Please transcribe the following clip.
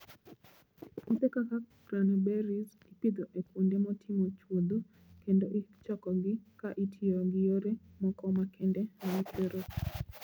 Puothe kaka cranberries ipidho e kuonde motimo chuodho kendo ichokogi ka itiyo gi yore moko makende mag chwero pi.